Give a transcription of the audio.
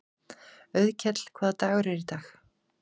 Auðkell, hvaða dagur er í dag?